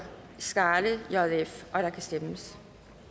skaale og der kan stemmes